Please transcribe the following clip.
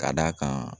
Ka d'a kan